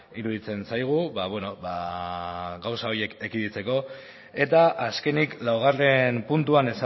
iruditzen zaigu ba bueno gauza horiek ekiditeko eta azkenik laugarren puntuan